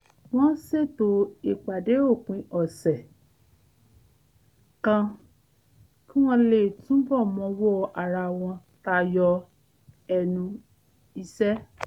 wọ́n ṣètò ìpàdé òpin ọ̀sẹ̀ kan kí wọ́n lè túbọ̀ mọwọ́ ara wọn tayọ ẹnu iṣẹ́